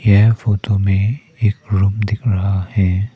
यह फोटो में एक रूम दीख रहा है।